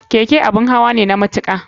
Keke abun hawa ne na matuka.